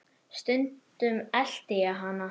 Stundum elti ég hana.